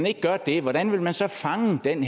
ikke gør det hvordan vil man så fange den